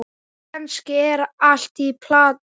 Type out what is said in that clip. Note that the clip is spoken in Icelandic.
Kannski er allt í plati.